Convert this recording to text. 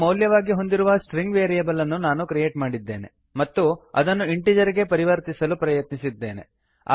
ಆರನ್ನು ಮೌಲ್ಯವಾಗಿ ಹೊಂದಿರುವ string variable ಅನ್ನು ಕ್ರಿಯೇಟ್ ಮಾಡಿದ್ದೇನೆ ಮತ್ತು ಅದನ್ನು ಇಂಟೀಜರ್ ಗೆ ಪರಿವರ್ತಿಸಲು ಪ್ರಯತ್ನಿಸುತ್ತಿದ್ದೇನೆ